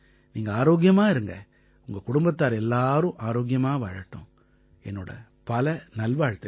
நீங்க ஆரோக்கியமா இருங்க உங்க குடும்பத்தார் எல்லாரும் ஆரோக்கியமா வாழட்டும் என்னோட பல நல்வாழ்த்துக்கள்